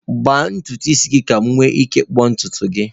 Gbaa ntutu isi gị, ka m nwee ike ịkpụ ntutu gị.